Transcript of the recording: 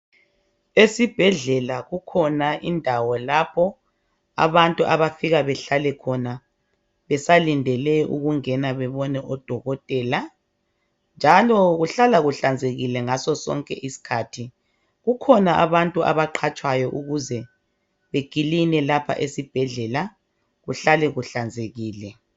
Esibhedlela kukhona indawo lapho abantu abafika behlale khona besalindele ukungena bebone odokotela njalo kuhlala kuhlanzekile ngasosonke isikhathi. Kukhona abantu abaqhatshwayo ukuze bekiline lapha esibhedlela kuhlale kuhlanzekile